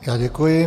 Já děkuji.